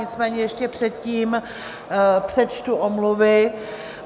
Nicméně ještě předtím přečtu omluvy.